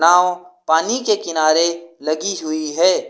नाव पानी के किनारे लगी हुई है।